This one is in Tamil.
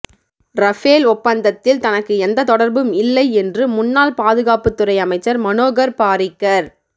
ரஃபேல் ஒப்பந்தத்தில் தனக்கு எந்த தொடர்பும் இல்லை என்று முன்னாள் பாதுகாப்புத்துறை அமைச்சர் மனோகர் பாரிக்கர்